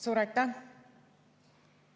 Suur aitäh!